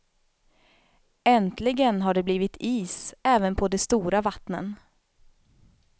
Äntligen har det blivit is även på de stora vattnen.